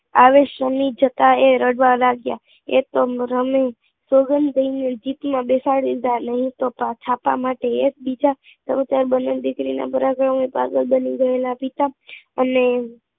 આવી શનિ જતાં તે રડવા લાગ્યા, આ પણ રમી ને જીપ માં બેસાડી લીધા નહીં તો પાછા આવા માં બને દીકરી ના પાગલ બની ગયેલા પિતા